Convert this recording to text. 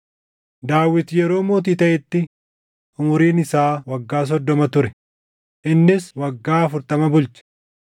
Daawit yeroo mootii taʼetti umuriin isaa waggaa soddoma ture; innis waggaa afurtama bulche.